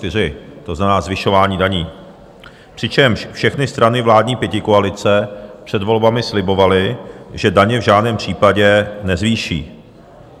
To znamená zvyšování daní, přičemž všechny strany vládní pětikoalice před volbami slibovaly, že daně v žádném případě nezvýší.